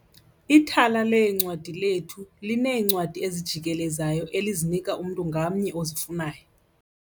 Ithala leencwadi lethu lineencwadi ezijikelezayo elizinika umntu ngamnye ozifunayo.